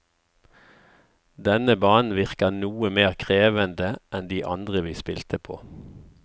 Denne banen virker noe mer krevende enn de andre vi spilte på.